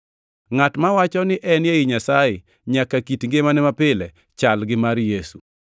Ngʼat mawacho ni en ei Nyasaye nyaka kit ngimane mapile chal gi mar Yesu.